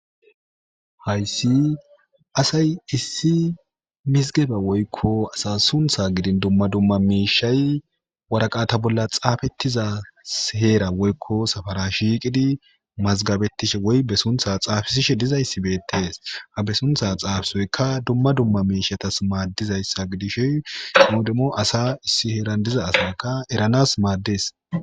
hayssi asay issi misgebe woykko asa suntha gidin dumma dumma miishay waraqata bolla xaafettizasheera woykko safara shiiqidi mazgabettishe woy be suntha xaafisishe dizayssi beettes ha be suntha xaafisoyka dumma dumma miishatas maaddizayssa gidishoy qimodemo asa issi heeran diza asakka eranas maaddes